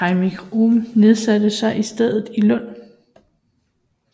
Heinrich Ohm nedsatte sig i stedet i Lund